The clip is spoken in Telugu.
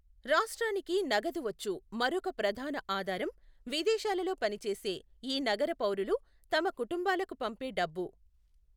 రాష్ట్రానికి నగదు వచ్చు మరొక ప్రధాన ఆధారం విదేశాలలో పనిచేసే ఈ నగరపౌరులు తమ కుటుంబాలకు పంపే డబ్బు.